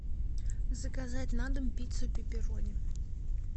заказать на дом пиццу пеперони